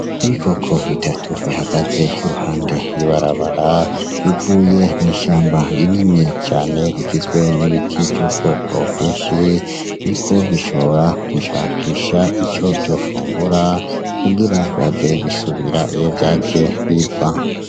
Ibikoko bitatu bihagaze iruhande y'ibarabara bivuye mu ishamba rinini cane rigizwe n'ibiti vy'ubwoko bwinshi, biriko bishobora kwishakisha ico vyofungura kugira bihave bisubira iyo vyaje biva.